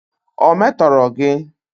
Ọ̀ metọrọ gị?